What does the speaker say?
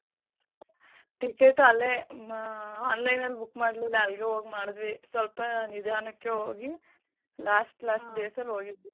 Ticket ಅಲ್ಲೇ ಮಾ online ಅಲ್ book ಮಾಡ್ಲಿಲ್ಲ ಅಲ್ಗೇ ಹೋಗ್ ಮಾಡಿದ್ವಿ. ಸ್ವಲ್ಪ ನಿಧಾನಕ್ಕೆ ಹೋಗಿ last last days ಅಲ್ ಹೋಗಿದ್ವಿ.